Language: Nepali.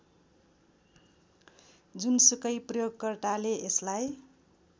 जुनसुकै प्रयोगकर्ताले यसलाई